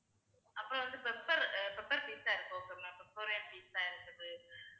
அப்புறம் வந்து pepper pepper tikka இருக்கு okay வா ma'am victoria pizza இருக்குது